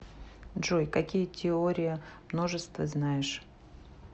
джой какие теория множеств ты знаешь